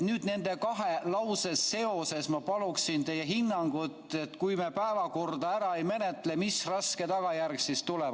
Nüüd nende kahe lause seoses ma paluksin teie hinnangut, et kui me päevakorda ära ei menetle, mis raske tagajärg siis tuleb.